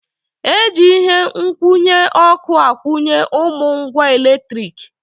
E ji ihe nkwụnye ọkụ akwụnye ụmụ ngwa eletrik.